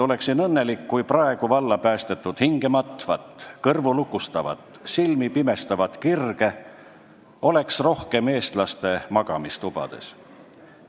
Oleksin õnnelik, kui praegu valla päästetud hingematvat, kõrvulukustavat, silmipimestavat kirge oleks rohkem eestlaste magamistubades.